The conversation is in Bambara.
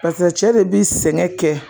Pase cɛ de bi sɛgɛn kɛ